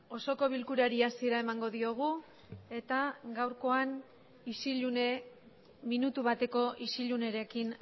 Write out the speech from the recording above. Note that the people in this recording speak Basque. osoko bilkurari hasiera emango diogu eta gaurkoan isillune minutu bateko isillunerekin